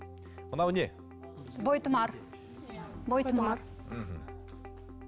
мынау не бойтұмар мхм